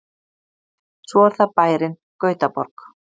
Svo er það bærinn Gautaborg.